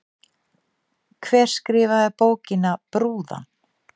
Hver skrifaði bókina Brúðan?